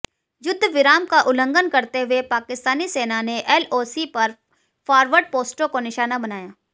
युद्धविराम का उल्लंघन करते हुए पाकिस्तानी सेना ने एलओसी पर फारवर्ड पोस्टों को निशाना बनाया